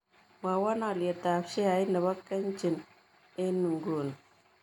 Mwawon alyetap sheait ne po kenchik eng' inguni